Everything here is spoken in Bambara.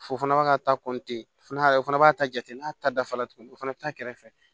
Fo fana b'a ka ta fana o fana b'a ta jate n'a ta dafalen tuguni o fana bɛ taa a kɛrɛfɛ